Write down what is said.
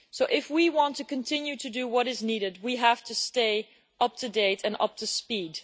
If we want to continue to do what is needed, we have to stay up-to-date and up-to-speed.